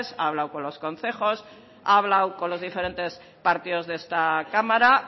ha hablado con los concejos ha hablado con los diferentes partidos de esta cámara